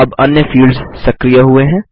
अब अन्य फील्ड्स सक्रिय हुए हैं